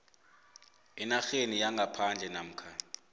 enarheni yangaphandle namkha